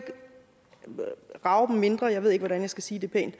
rage dem mindre jeg ved ikke hvordan jeg skal sige det pænt